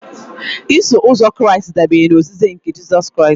Iso uzọ Kraịst dabere na ozizi nke Jizọs Kraịst